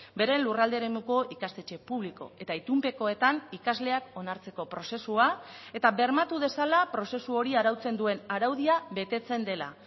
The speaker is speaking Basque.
beren lurralde eremuko ikastetxe publiko eta itunpekoetan ikasleak onartzeko prozesua eta bermatu dezala prozesu hori arautzen duen araudia betetzen dela